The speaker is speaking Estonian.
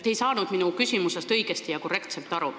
Te ei saanud minu küsimusest õigesti ja korrektselt aru.